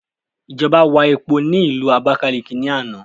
Ìjọba wà epo ni ilu Abákáliki ni àná